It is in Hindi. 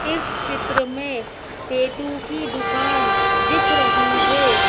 इस चित्र में टैटू की दुकान दिख रही है।